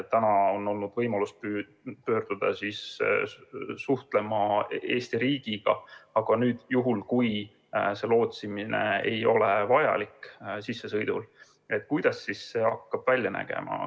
Praegu on olnud võimalus pöörduda sel juhul Eesti riigi poole, aga juhul kui lootsimine sissesõidul ei ole vajalik, kuidas siis hakkab asi välja nägema?